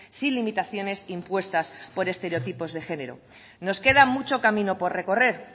sin limitaciones impuestas por estereotipos de género nos queda mucho camino por recorrer